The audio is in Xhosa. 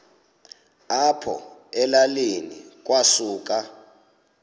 apho elalini kwasuka